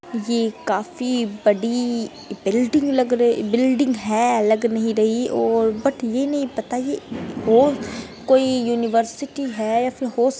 ये काफी बड़ी बिल्डिंग लग रही बिल्डिंग है लग नहीं रही ओर बट ये नहीं पता ये वो कोई यूनिवर्सिटी है या फिर होस --